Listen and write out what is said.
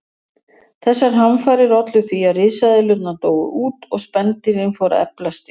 Þessar hamfarir ollu því að risaeðlurnar dóu út og spendýrin fóru að eflast í staðinn.